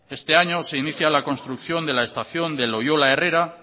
este año se inicia la construcción de la estación de loyola herrera